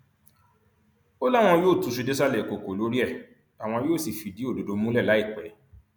ó láwọn yóò túṣu désàlẹ ìkọkọ lórí ẹ àwọn yóò sì fìdí òdodo múlẹ láìpẹ